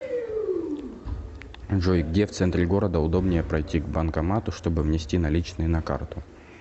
джой где в центре города удобнее пройти к банкомату чтобы внести наличные на карту